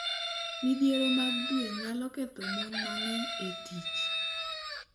Midhiero mag dwe nyalo ketho mon mang’eny e tich